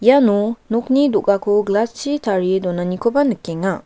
iano nokni do·gako glass-chi tarie donanikoba nikenga.